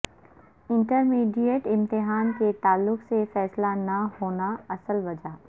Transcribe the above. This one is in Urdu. انٹرمیڈیٹ امتحان کے تعلق سے فیصلہ نہ ہونا اصل وجہ